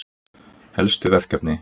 Helstu verkefni:-